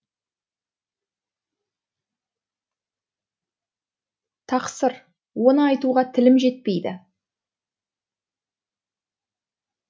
тақсыр оны айтуға тілім жетпейді